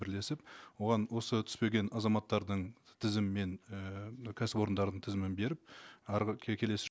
бірлесіп оған осы түспеген азаматтардың тізімімен ііі мына кәсіпорындардың тізімін беріп арғы келесі